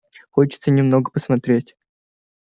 хочется немного посмотреть